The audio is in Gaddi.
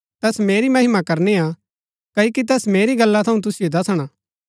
तैस मेरी महिमा करनी हा क्ओकि तैस मेरी गल्ला थऊँ तुसिओ दसणा